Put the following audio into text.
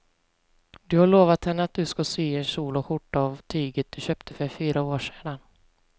Du har lovat henne att du ska sy en kjol och skjorta av tyget du köpte för fyra år sedan.